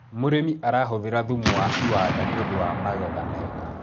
mũrĩmi arahuthira thumu wa iwanda nĩũndũ wa magetha mega